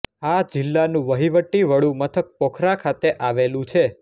આ જિલ્લાનું વહીવટી વડું મથક પોખરા ખાતે આવેલું છે